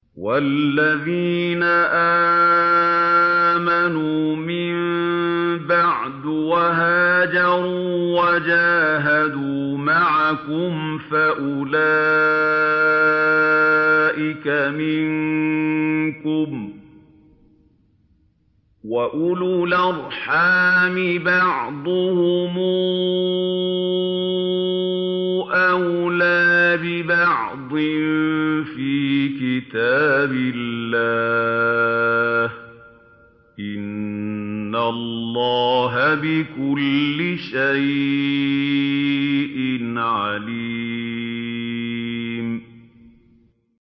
وَالَّذِينَ آمَنُوا مِن بَعْدُ وَهَاجَرُوا وَجَاهَدُوا مَعَكُمْ فَأُولَٰئِكَ مِنكُمْ ۚ وَأُولُو الْأَرْحَامِ بَعْضُهُمْ أَوْلَىٰ بِبَعْضٍ فِي كِتَابِ اللَّهِ ۗ إِنَّ اللَّهَ بِكُلِّ شَيْءٍ عَلِيمٌ